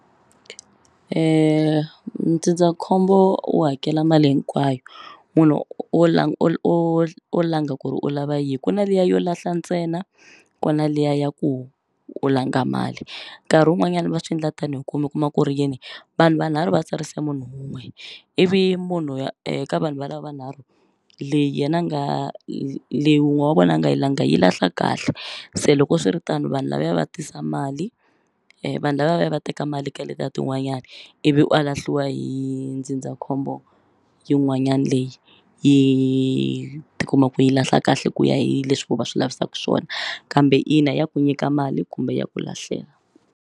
Ndzindzakhombo wu hakela mali hinkwayo munhu u u u o langa ku ri u lava yini ku na liya yo lahla ntsena kuna liya ya ku u langa mali nkarhi wun'wanyani va swindla tanihi ku mi kuma u kuma ku ri yini vanhu vanharhu va tsarise munhu wun'we ivi munhu ya vanhu va lava nharhu leyi yena a nga leyi wun'we wa vona a nga yi langa yi lahla kahle se loko swiritano vanhu lavaya va tisa mali vanhu lavaya va teka mali ka letiya tin'wanyani ivi a lahliwa hi ndzindzakhombo yin'wanyani leyi yi tikumaku yi lahla kahle ku ya hi leswi vo va swi lavisaka swona kambe ina ya ku nyika mali kumbe ya ku lahlela.